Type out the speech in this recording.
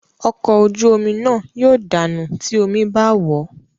Ọkọ̀ ojú omi náà yóò dànù tí omí bá wòó.